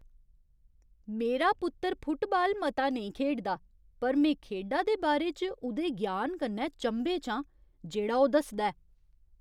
मेरा पुत्तर फुटबाल मता नेईं खेढदा पर में खेढा दे बारे च उ'दे ज्ञान कन्नै चंभे च आं जेह्ड़ा ओह् दसदा ऐ।